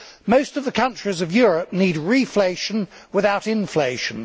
Most of the countries of Europe need reflation without inflation.